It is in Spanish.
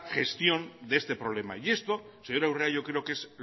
gestión de este problema y esto señora urrea yo creo que es